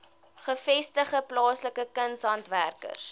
gevestigde plaaslike kunshandwerkers